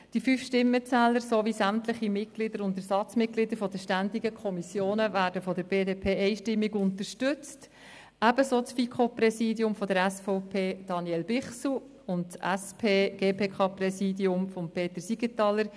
Die fünf Stimmenzähler sowie sämtliche Mitglieder und Ersatzmitglieder der ständigen Kommissionen werden von der BDP einstimmig unterstützt, ebenso das FiKo-Präsidium von Daniel Bichsel von der SVP und das SP-GPK-Präsidium von Peter Siegenthaler.